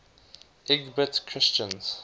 lgbt christians